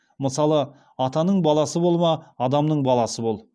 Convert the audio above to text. мысалға атаның баласы болма адамның баласы бол